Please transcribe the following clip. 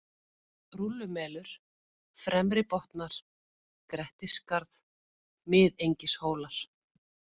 Rúllumelur, Fremri-Botnar, Grettisskarð, Miðengishólar